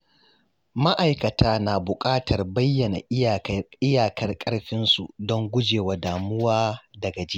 Ma’aikata na bukatar bayyana iyakar ƙarfinsu don gujewa damuwa da gajiya.